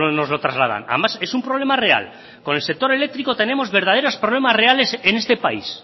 nos lo trasladan además es un problema real con el sector eléctrico tenemos verdaderos problemas reales en este país